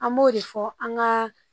An b'o de fɔ an ka